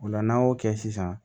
O la n'an y'o kɛ sisan